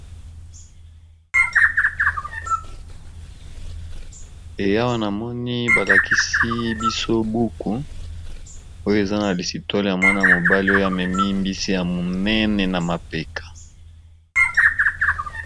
Awa namoni balakisi biso buku oyo eza na histoire ya Mwana mobali amemi mbisi ya monene na mapeka.